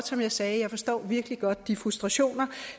som jeg sagde forstår jeg virkelig godt de frustrationer